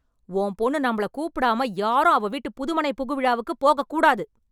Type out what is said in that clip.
உன் பொண்ணு நம்மள கூப்பிடாம யாரும் அவ வீட்டு புதுமனை புகுவிழாக்கு போகக் கூடாது